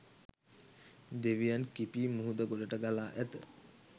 දෙවියන් කිපී මුහුද ගොඩට ගලා ඇත